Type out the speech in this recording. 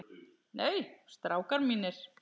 Nei, strákar mínir.